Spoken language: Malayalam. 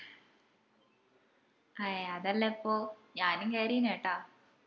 അയെ അതെല്ലെപ്പൊ ഞാനും കേറിന് കേട്ടാ